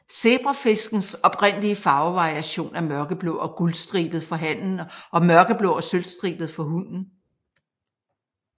Zebrafiskens oprindelige farvevariation er mørkeblå og guldstribet for hannen og mørkeblå og sølvstribet for hunnen